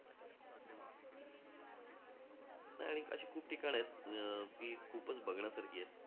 नाही आणि अशी खूप ठिकाण आहेत, अं जी खूपच बघण्यासारखी आहेत.